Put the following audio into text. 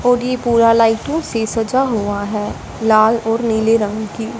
और ये पूरा लाइटों से सजा हुआ है लाल और नील रंग की।